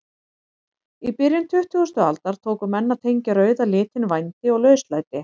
Í byrjun tuttugustu aldar tóku menn að tengja rauða litinn vændi og lauslæti.